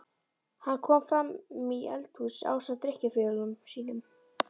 Hann kom framí eldhús ásamt drykkjufélögum sínum.